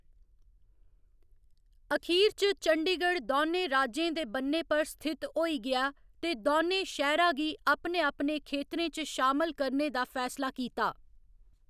अखीर च चंडीगढ़ दौनें राज्यें दे बन्नै पर स्थित होई गेआ ते दौनें शैह्‌रा गी अपने अपने खेतरें च शामल करने दा फैसला कीता।